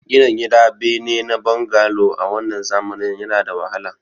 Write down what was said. Gina gida bene na bangalo a wannan zamanin yana da wahala